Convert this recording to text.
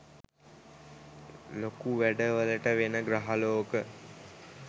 ලොකු වැඩ වලට වෙන ග්‍රහලෝක